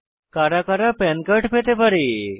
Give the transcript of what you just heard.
কারা কারা PAN card পেতে পারে